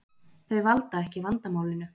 Þau valda ekki vandamálinu